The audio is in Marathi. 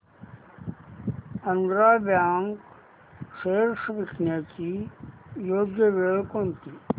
आंध्रा बँक शेअर्स विकण्याची योग्य वेळ कोणती